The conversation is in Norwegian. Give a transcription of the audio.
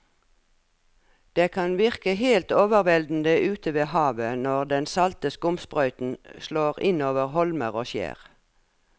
Det kan virke helt overveldende ute ved havet når den salte skumsprøyten slår innover holmer og skjær.